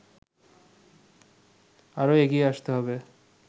আরো এগিয়ে আসতে হবে